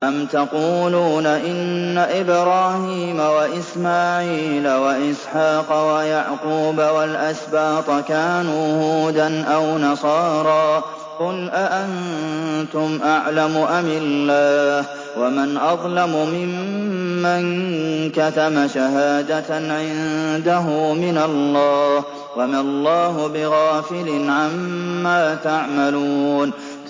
أَمْ تَقُولُونَ إِنَّ إِبْرَاهِيمَ وَإِسْمَاعِيلَ وَإِسْحَاقَ وَيَعْقُوبَ وَالْأَسْبَاطَ كَانُوا هُودًا أَوْ نَصَارَىٰ ۗ قُلْ أَأَنتُمْ أَعْلَمُ أَمِ اللَّهُ ۗ وَمَنْ أَظْلَمُ مِمَّن كَتَمَ شَهَادَةً عِندَهُ مِنَ اللَّهِ ۗ وَمَا اللَّهُ بِغَافِلٍ عَمَّا تَعْمَلُونَ